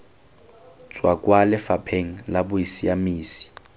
tswa kwa lefapheng la bosiamisi